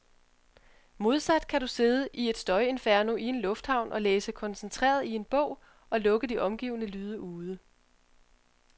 Modsat kan du sidde i et støjinferno i en lufthavn og læse koncentreret i en bog, og lukke de omgivende lyde ude.